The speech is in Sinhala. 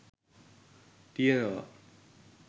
තියෙනවා.